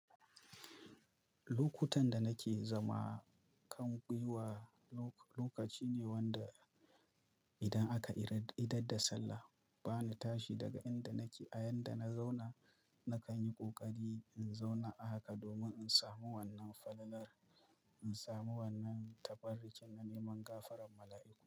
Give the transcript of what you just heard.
Lokutan da nake zama kan gwiwa, lokaci ne wanda idan aka idar da sallah, bani tashi daga inda nake a inda na zauna, na kan yi ƙoƙari in zauna haka domin in samu wannan falalar, in samu wannan taɓarrakin na neman gafaran mala'iku.